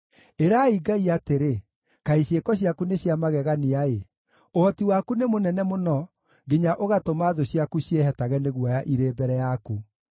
Ĩrai Ngai atĩrĩ, “Kaĩ ciĩko ciaku nĩ cia magegania-ĩ! Ũhoti waku nĩ mũnene mũno nginya ũgatũma thũ ciaku ciĩhetage nĩ guoya irĩ mbere yaku.